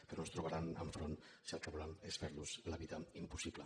però ens trobaran enfront si el que volen és fer los la vida impossible